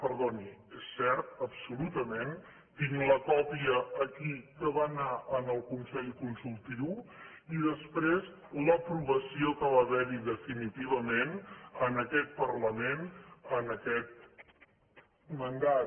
perdoni és cert absolutament tinc la còpia aquí que va anar al consell consultiu i després l’aprovació que va haver hi definitivament en aquest parlament en aquest mandat